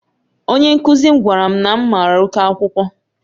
Onye nkuzi m gwara m na m mara oke akwụkwọ